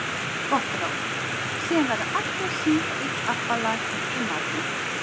Gott ráð: Síðan verða allir að syngja eitt ABBA lag eftir matinn.